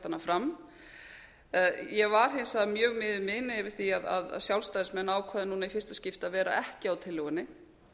ég hef lagt hana fram ég var hins vegar mjög miður mín yfir því að sjálfstæðismenn ákváðu núna í fyrsta skipti að vera ekki á tillögunni